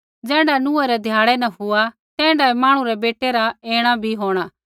ज़ैण्ढा नूहै रै ध्याड़ै न हुआ तैण्ढाऐ मांहणु रै बेटै रा ऐणा बी होंणा